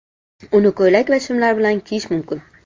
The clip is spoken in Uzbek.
Uni ko‘ylak va shimlar bilan kiyish mumkin.